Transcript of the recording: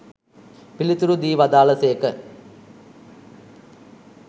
පිළිතුරු දී වදාළ සේක